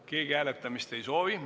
Keegi hääletamist ei soovi.